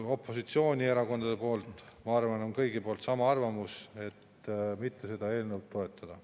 Opositsioonierakonnad, ma arvan, on kõik samal arvamusel, et seda eelnõu mitte toetada.